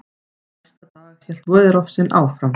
Næsta dag hélt veðurofsinn áfram.